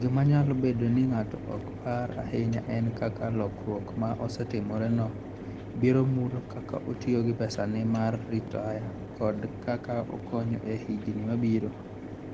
gima nyalo bedo ni ng'ato ok par ahinya en kaka lokruok ma osetimoreno biro mulo kaka otiyo gi pesane mar ritaya kod kaka okonyo e higini mabiro.